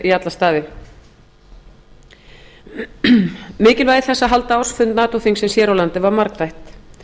í alla staði mjög vel mikilvægi þess að halda ársfund nato þingsins hér á landi var margþætt